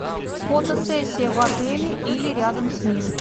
фотосессия в отеле или рядом с ним